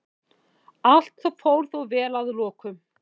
Allt fór þó vel að lokum